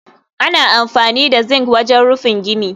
Ana amfani da zincs wajen rufin gini